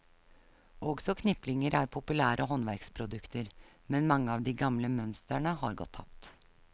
Også kniplinger er populære håndverksprodukter, men mange av de gamle mønstrene er gått tapt.